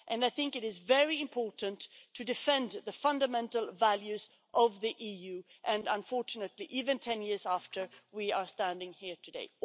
I think it is very important to defend the fundamental values of the EU and, unfortunately, even 10 years after, we are standing here today.